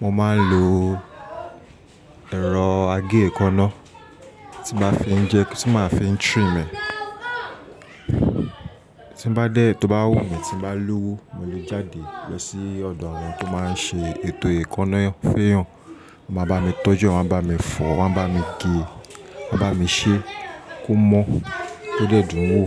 mo máa ń lo ẹ̀rọ agé èékánná tí màá fi ń jẹ, tí màá fi ń trim ẹ. Tí bá dé tí ó bá wù mí tí bá lówó mo lè jáde lọ sí ọ̀dọ̀ àwọn tó máa ń ṣe ètò èékánná f'éyàn. Wọ́n máa bá mi tọ́jú ẹ̀, wọ́n máa bá mi fọ, wọ́n máa bá mi gé, wọ́n máa bá mi ṣẹ́ kó mọ́ tó dẹ́dùn wò.